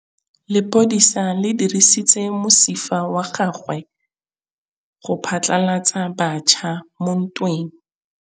Lepodisa le dirisitse mosifa wa gagwe go phatlalatsa batšha mo ntweng.